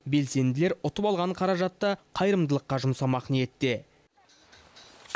белсенділер ұтып алған қаражатты қайырымдылыққа жұмсамақ ниетте